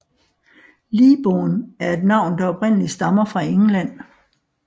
Leabourn er et navn der oprindeligt stammer fra England